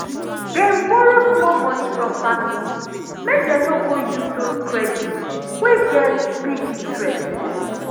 dem borrow small money from family make dem no go use those credit wey get big interest.